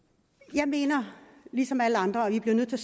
jeg mener ligesom alle andre at vi bliver nødt til